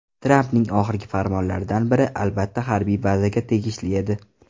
Trampning oxirgi farmonlaridan biri, albatta, harbiy bazaga tegishli edi.